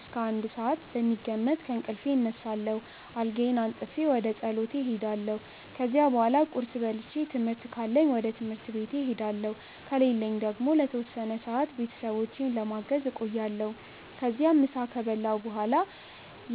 እስከ 1 ሰዓት በሚገመት ከእንቅልፌ እነሳለሁ፣ አልጋዬን አንጥፌ ወደ ፀሎቴ እሄዳለሁ። ከዚያ በኋላ ቁርስ በልቼ ትምህርት ካለኝ ወደ ትምህርት ቤቴ እሄዳለሁ ከሌለኝ ደግሞ ለተወሰነ ሰዓት ቤተሰቦቼን ለማገዝ እቆያለሁ። ከዚያም ምሳ ከበላሁ በኋላ